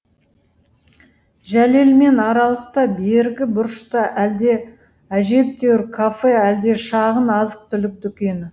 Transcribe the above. жәлелмен аралықта бергі бұрышта әлде әжептәуір кафе әлде шағын азық түлік дүкені